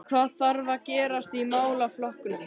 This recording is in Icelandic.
En hvað þarf að gerast í málaflokknum?